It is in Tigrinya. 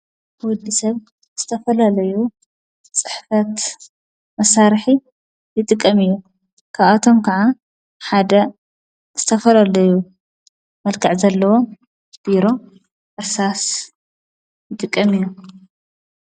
ወዲ ሰብ እስተፈላለዩ ጽሕፈት መሳርሒ ሊጥቀም እዩ ካብኣቶም ከዓ ሓደ ዝስተፈለለዩ መልከዕ ዘለዎ ቢሮ ፣እርሳስ ይጥቀም እዩ።